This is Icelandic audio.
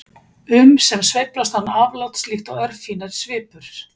um sem sveiflast án afláts líkt og örfínar svipur.